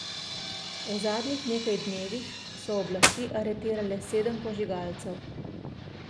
V zadnjih nekaj dnevih so oblasti aretirale sedem požigalcev.